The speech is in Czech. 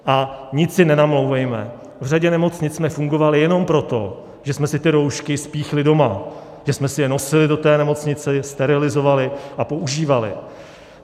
A nic si nenamlouvejme, v řadě nemocnic jsme fungovali jenom proto, že jsme si ty roušky spíchli doma, že jsme si je nosili do té nemocnice, sterilizovali a používali.